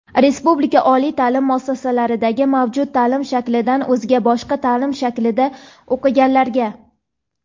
respublika oliy ta’lim muassasalaridagi mavjud ta’lim shaklidan o‘zga (boshqa) ta’lim shaklida o‘qiganlarga;.